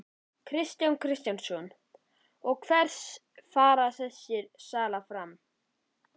Kristján Kristjánsson: Hver fer þessi sala fram?